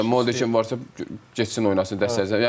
Vallahi deyirəm Molde kimi varsa getsin oynasın, dəstəkləsin.